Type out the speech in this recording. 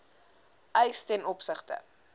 eis ten opsigte